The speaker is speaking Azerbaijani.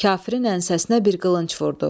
Kafirin ənsəsinə bir qılınc vurdu.